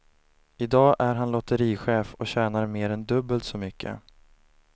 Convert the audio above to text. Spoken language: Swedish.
I dag är han lotterichef och tjänar mer än dubbelt så mycket.